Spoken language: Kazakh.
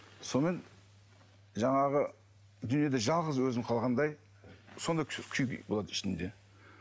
сонымен жаңағы дүниеде жалғыз өзім қалғандай сондай күй болады ішімде